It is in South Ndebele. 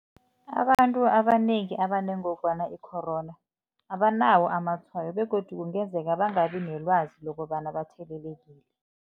Abantu abanengi abanengogwana i-corona abanawo amatshwayo begodu kungenzeka bangabi nelwazi lokobana bathelelekile.